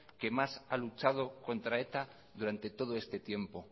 que más ha luchado contra eta durante todo este tiempo